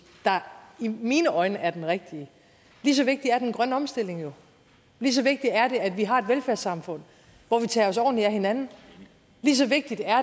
der i mine øjne er den rigtige lige så vigtig er den grønne omstilling jo lige så vigtigt er det at vi har et velfærdssamfund hvor vi tager os ordentligt af hinanden lige så vigtigt er